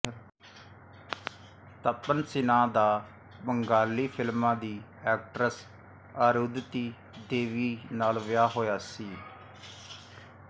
ਤਪਨ ਸਿਨਹਾ ਦਾ ਬੰਗਾਲੀ ਫ਼ਿਲਮਾਂ ਦੀ ਐਕਟਰੈਸ ਅਰੁੰਧਤੀ ਦੇਵੀ ਨਾਲ ਵਿਆਹ ਹੋਇਆ ਸੀ